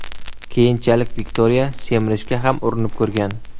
Keyinchalik, Viktoriya semirishga ham urinib ko‘rgan.